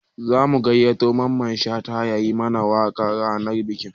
Za mu gayyato Mamman Shata ya yi mana waƙa ranar bikin